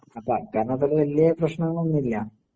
അപ്പോ എഅ കാരണത്താല് വലിയ പ്രശ്നങ്ങൾ ഒന്നും ഇല്ല.